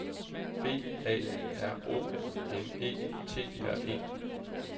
B A R O M E T R E